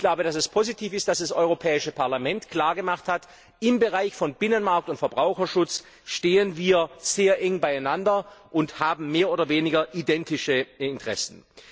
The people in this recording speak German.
Ich glaube, dass es positiv ist, dass das Europäische Parlament klar gemacht hat Im Bereich von Binnenmarkt und Verbraucherschutz stehen wir sehr eng beieinander und haben mehr oder weniger identische Interessen.